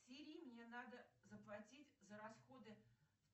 сири мне надо заплатить за расходы